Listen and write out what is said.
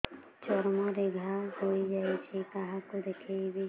ଚର୍ମ ରେ ଘା ହୋଇଯାଇଛି କାହାକୁ ଦେଖେଇବି